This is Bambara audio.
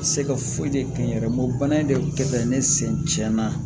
Se ka foyi de kɛ n yɛrɛ ye bana in de kɛ ne sen tiɲɛna